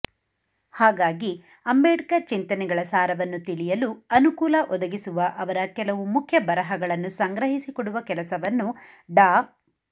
ಹಾಗಾಗಿ ಅಂಬೇಡ್ಕರ್ ಚಿಂತನೆಗಳ ಸಾರವನ್ನು ತಿಳಿಯಲು ಅನುಕೂಲ ಒದಗಿಸುವ ಅವರ ಕೆಲವು ಮುಖ್ಯ ಬರಹಗಳನ್ನು ಸಂಗ್ರಹಿಸಿ ಕೊಡುವ ಕೆಲಸವನ್ನು ಡಾ